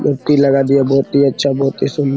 मूर्ती लगा दिया बहुत ही अच्छा बहुत ही सुन --